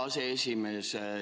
Tänan, hea aseesimees!